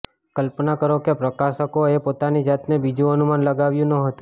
કલ્પના કરો કે પ્રકાશકોએ પોતાની જાતને બીજું અનુમાન લગાવ્યું ન હતું